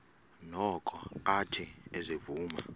noko athe ezivuma